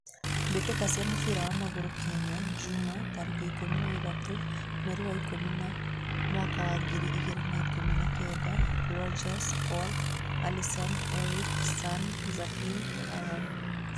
Mbitika cia mũbira wa magũrũ Kenya jumaa, tarekĩ ikũmi na ithatũ, mweri wa ikũmi na mwaka wa ngiri ĩgirĩ na ikũmi na kenda: Rodges, Paul, Allison, Erick, San, Zahin, Haron